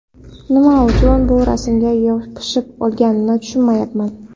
Nima uchun bu rasmga yopishib olinganini tushunmayapman.